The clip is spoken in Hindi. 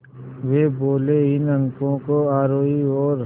वे बोले इन अंकों को आरोही और